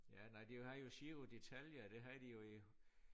Ja nej de har jo Giro d'Italia det havde de jo i